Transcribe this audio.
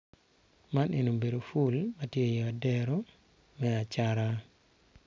Man, eni obedi pul ma tye i odero me acata